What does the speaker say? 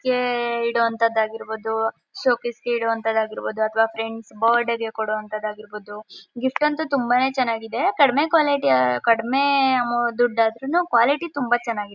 ಇಡೋವಂಥದ್ದು ಆಗಿರ್ಬಹುದು ಶೋಕೇಸ್ಗೆ ಇಡೋವಂಥದ್ದುಆಗಿರ್ಬಹುದು ಅಥವಾ ಫ್ರೆಂಡ್ಸ್ಗೆಬರ್ಡ್ ಕೊಡೊ ಅಂಥದ್ದಾಗಿರಬಹುದು ಗಿಫ್ಟ್ ಅಂತು ತುಂಬಾನೇ ಚೆನ್ನಾಗಿದೆ ಕಡಿಮೆ ಕ್ವಾಲಿಟಿ ಕಡಿಮೆ ದುಡ್ ಆದ್ರೂನು ಕ್ವಾಲಿಟಿ ಚೆನ್ನಾಗಿದೆ.